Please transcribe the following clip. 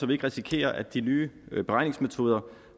vi ikke risikerer at de nye beregningsmetoder